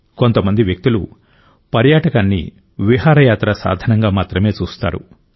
కొంతమంది వ్యక్తులు పర్యాటకాన్ని విహారయాత్రా సాధనంగా మాత్రమే చూస్తారు